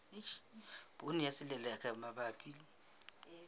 poone ya selelekela mabapi le